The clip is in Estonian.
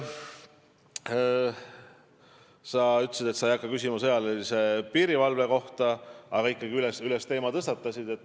Sa ütlesid, et sa ei hakka küsima sõjalise piirivalve kohta, aga teema ikkagi tõstatasid.